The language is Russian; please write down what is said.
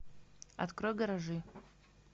открой гаражи